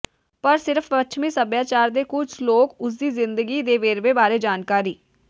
ਪਰ ਸਿਰਫ਼ ਪੱਛਮੀ ਸਭਿਆਚਾਰ ਦੇ ਕੁਝ ਲੋਕ ਉਸ ਦੀ ਜ਼ਿੰਦਗੀ ਦੇ ਵੇਰਵੇ ਬਾਰੇ ਜਾਣਕਾਰੀ